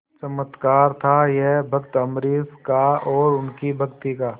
चमत्कार था यह भक्त अम्बरीश का और उनकी भक्ति का